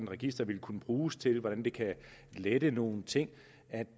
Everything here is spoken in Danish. register ville kunne bruges til hvordan det kan lette nogle ting